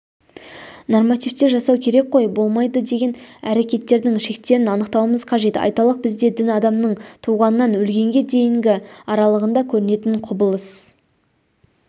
нормативтер жасау керек қой болмайды деген әрекеттердің шектерін анықтаумыз қажет айталық бізде дін адамның туғаннан өлгенге дейінгі аралығында көрінетін құбылыс